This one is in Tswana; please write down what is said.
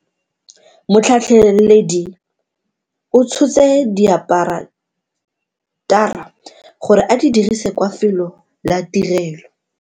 Motlhatlheledi o tshotse diaparatara gore a di dirise kwa felo la tirelo.